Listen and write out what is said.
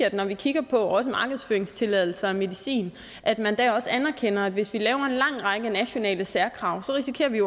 at vi når vi kigger på også markedsføringstilladelser af medicin anerkender at hvis vi laver en lang række nationale særkrav risikerer vi